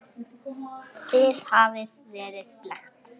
Þið hafið verið blekkt.